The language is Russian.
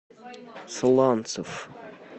сланцев